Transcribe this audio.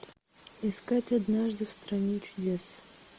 искать однажды в стране чудес